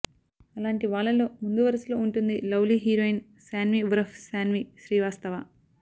అలాంటి వాళ్లలో ముందు వరసలో ఉంటుంది లవ్ లీ హీరోయిన్ శాన్వి ఉరఫ్ శాన్వి శ్రీవాస్తవ